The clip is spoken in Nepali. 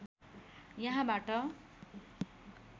यहाँबाट